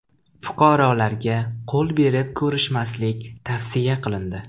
Fuqarolarga qo‘l berib ko‘rishmaslik tavsiya qilindi.